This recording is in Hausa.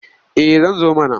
Eh zan zo mana.